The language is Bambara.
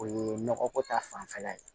O ye nɔgɔ ko ta fanfɛla ye